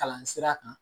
Kalan sira kan